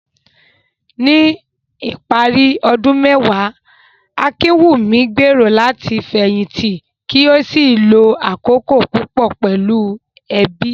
Ní ìparí ọdún mẹ́wàá, Akinwunmi gbèrò láti fẹ̀yìntì kí ó sì lo àkókò púpọ̀ pẹ̀lú ẹbí.